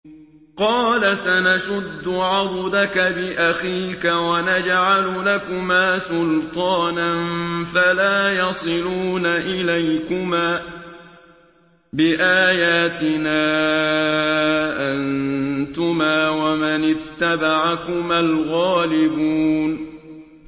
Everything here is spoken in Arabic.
قَالَ سَنَشُدُّ عَضُدَكَ بِأَخِيكَ وَنَجْعَلُ لَكُمَا سُلْطَانًا فَلَا يَصِلُونَ إِلَيْكُمَا ۚ بِآيَاتِنَا أَنتُمَا وَمَنِ اتَّبَعَكُمَا الْغَالِبُونَ